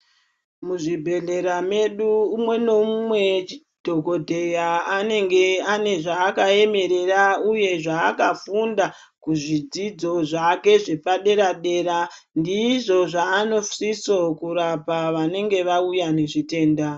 Muzvibhedhlera medu umwe noumwe dhokodheya anenge ane zvaakaemerera uye zvaakafunda, kuzvidzidzo zvake zvepadera-dera .Ndizvo zveanosiso kurapa vanenga vauya nezvitenda.